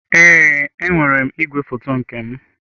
Ee, enwere m igwefoto nke m.